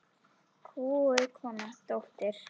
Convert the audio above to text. Kúguð kona, dóttir.